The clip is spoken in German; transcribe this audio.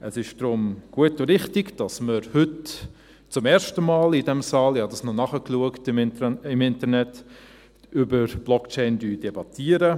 Es ist daher gut und richtig, dass wir heute zum ersten Mal in diesem Saal – ich habe das noch im Internet nachgeschaut – über Blockchain debattieren.